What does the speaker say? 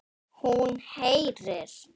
Hún heyrir.